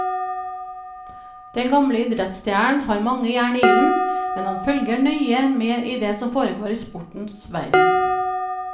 Den gamle idrettsstjernen har mange jern i ilden, men han følger nøye med i det som foregår i sportens verden.